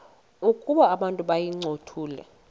ukuba abantu bayincothule